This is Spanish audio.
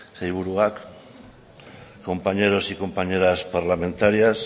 sailburuak compañeros y compañeras parlamentarias